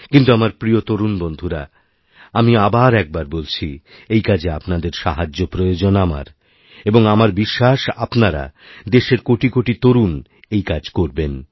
কিন্তু আমার প্রিয় তরুণবন্ধুরা আমি আবার একবার বলছি এই কাজে আপনাদের সাহায্য প্রয়োজন আমার এবং আমারবিশ্বাস আপনারা দেশের কোটি কোটি তরুণ এই কাজ করবেন